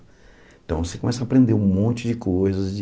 Então, você começa a aprender um monte de coisas de...